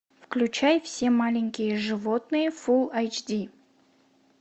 включай все маленькие животные фулл айч ди